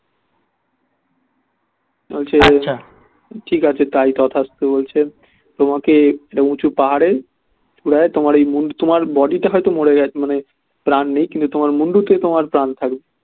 বলছে ঠিক আছে তাই তথাস্তু বলছে তোমাকে একটা উঁচু পাহাড়ে চূড়ায় তোমার এই মুন্ড তোমার body টা হয়তো মরে গেছে মানে প্রাণ নেই কিন্তু মুন্ডতেই তোমার প্রাণ থাকবে